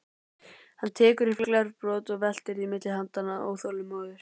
Hann tekur upp glerbrot og veltir því milli handanna, óþolinmóður.